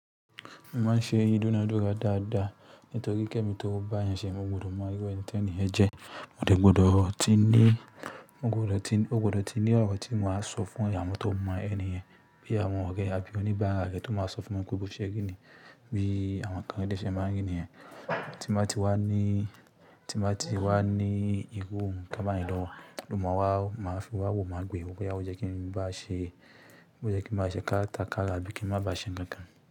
Mo máa ń ṣe idúnádúrà dáadáa nítorí kẹ́mi tó bá eeyàn ṣe mo gbúdọ̀ mọ irú ẹni tí ẹni yẹn jẹ́. Mo dè gbọdọ̀ ti ní, mo gbọdọ̀ ti, mo gbọdọ̀ ti ní ọ̀rọ̀ tí mo máa sọ fún awon tó mọ ẹni yẹn. Bí àwọn ọ̀rẹ́ ẹ àbí oníbáara re tó máa sọ fún wọn pé bó ṣe ri niyi, bí àwọn kán dé ṣe máa ń ri niyen. Tí n ba ti wá ní, tí n ba ti wá ní irú nǹkan báyìí lọwo, lo máa wá, má fi wá wò má gbe wo, bóyá o jẹ́ kí n bá a ṣe, bó jẹ́ kí n bá a ṣe kátàkárà abí i kí n máa bá a ṣe nkankan.